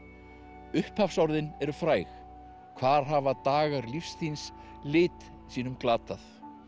upphafsorðin eru fræg hvar hafa dagar lífs þíns lit sínum glatað